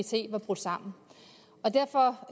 set var brudt sammen derfor